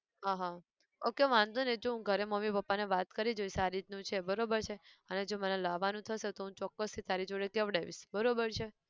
આહ okay વાંધો નઈ જો હું ઘરે મમ્મી પપ્પા ને વાત કરી જોઇશ આ રીતનું છે બરોબર છે અને જો મારા લાવાનું થશે તો હું ચોક્કસ થી તારા જોડે કહેવડાઇશ, બરોબર છે!